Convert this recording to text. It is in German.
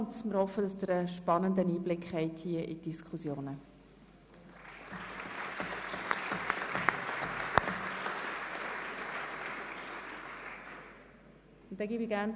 Wir hoffen, dass Sie einen spannenden Einblick in die Diskussionen erhalten.